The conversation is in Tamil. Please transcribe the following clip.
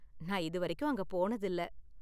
நான் இதுவரைக்கும் அங்க போனதில்ல.